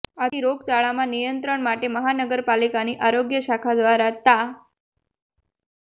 આથી રોગચાળામાં નિયંત્રણ માટે મહાનગર પાલિકાની આરોગ્ય શાખા દ્વારા તા